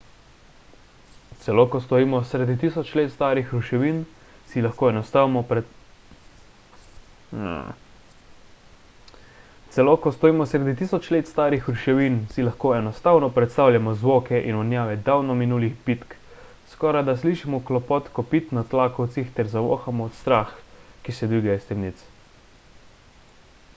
celo ko stojimo sredi tisoč let starih ruševin si lahko enostavno predstavljamo zvoke in vonjave davno minulih bitk skorajda slišimo klopot kopit na tlakovcih ter zavohamo strah ki se dviga iz temnic